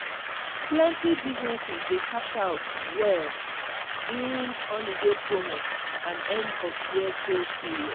plenty businesses dey cash out well during holiday promo and end-of-year sales period.